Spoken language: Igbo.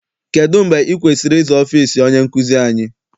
Kedụ mgbe ị kwesịrị ịza ọfịịsi onye nkụzi anyị?